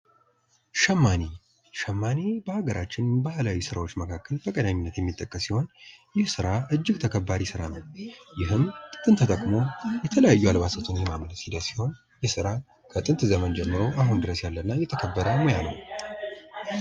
ሸማኔ ሸማኔ በሀገራችን ባህላዊ ስራዎች መካከል በቀዳሚነት የሚጠቀስ ሲሆን ይህ ስራ እጅግ ተከባሪ ስራ ነው። ይህም ጥጥን ተጠቅሞ የተለያዩ አልባሳትን የማምረት ሂደት ሲሆን ይህ ስራ ከጥንት ዘመን ጀምሮ አሁን ድረስ ያለ እና እየተከበረ ያለ ሙያ ነው።